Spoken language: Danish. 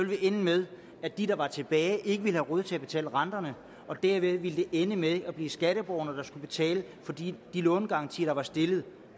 det ende med at de der var tilbage ikke ville have råd til at betale renterne og dermed ville det ende med at blive skatteborgerne der skulle betale for de lånegarantier der var stillet